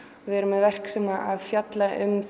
við erum með verk sem fjalla um